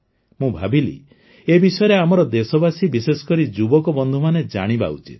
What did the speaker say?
ମୁଁ ଭାବିଲି ଏ ବିଷୟରେ ଆମର ଦେଶବାସୀ ବିଶେଷକରି ଯୁବକ ବନ୍ଧୁମାନେ ଜାଣିବା ଉଚିତ